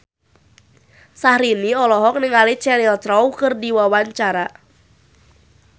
Syahrini olohok ningali Cheryl Crow keur diwawancara